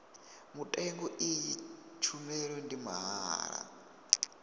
mutengo iyi tshumelo ndi mahala